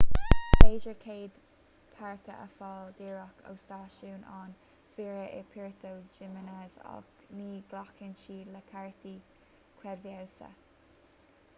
is féidir cead páirce a fháil díreach ó stáisiún an mhaoir i puerto jiménez ach ní ghlacann siad le cártaí creidmheasa